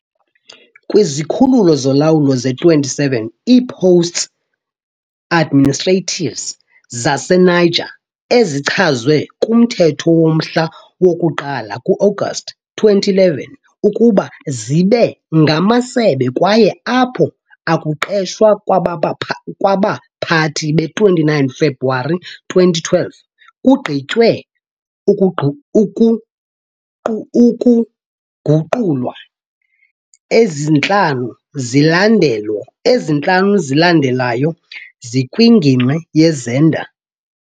Kwizikhululo zolawulo ze-27 i-postes administratifs zaseNiger ezichazwe kumthetho womhla woku-1 ku-Agasti 2011 ukuba zibe ngamasebe kwaye apho akuqeshwa kwabaphathi be-29 February 2012 kugqitywe ukuguqulwa, ezi 5 zilandelayo zikwingingqi yeZinder.